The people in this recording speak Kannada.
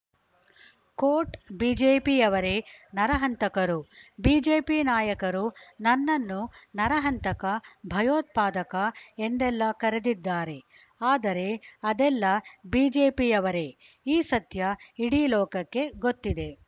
ಕೋಟ್‌ ಬಿಜೆಪಿಯವರೇ ನರಹಂತಕರು ಬಿಜೆಪಿ ನಾಯಕರು ನನ್ನನ್ನು ನರಹಂತಕ ಭಯೋತ್ಪಾದಕ ಎಂದೆಲ್ಲ ಕರೆದಿದ್ದಾರೆ ಆದರೆ ಅದೆಲ್ಲ ಬಿಜೆಪಿಯವರೇ ಈ ಸತ್ಯ ಇಡೀ ಲೋಕಕ್ಕೆ ಗೊತ್ತಿದೆ